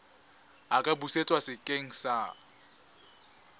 a ka busetswa sekeng sa